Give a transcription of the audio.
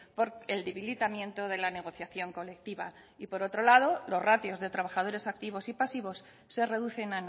por el debilitamiento de la negociación colectiva y por otro lado los ratios de trabajadores activos y pasivos se reducen